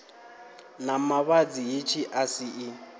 na mavhadzi hetshi a si